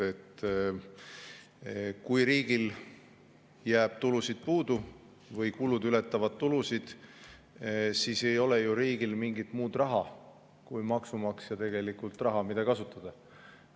Kui riigil jääb tulusid puudu või kulud ületavad tulusid, siis ei ole riigil mingit muud raha kui maksumaksja raha, mida kasutada.